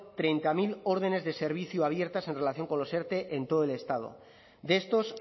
treinta mil órdenes de servicio abiertas en relación con los erte en todo el estado de estos